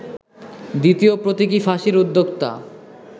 দ্বিতীয় প্রতীকী ফাঁসির উদ্যোক্তা